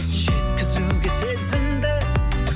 жеткізуге сезімді